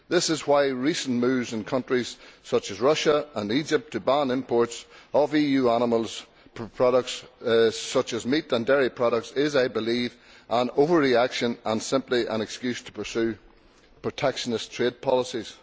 This is why recent moves in countries such as Russia and Egypt to ban imports of EU animal products, such as meat and dairy products, is, I believe, an overreaction and simply an excuse to pursue protectionist trade policies.